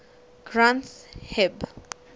granth hib